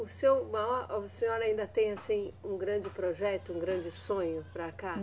O seu maior, a senhora ainda tem assim um grande projeto, um grande sonho para cá?